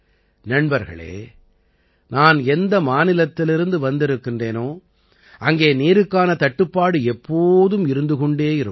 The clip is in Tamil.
நண்பர்களே நான் எந்த மாநிலத்திலிருந்து வந்திருக்கின்றேனோ அங்கே நீருக்கான தட்டுப்பாடு எப்போதும் இருந்து கொண்டே இருக்கும்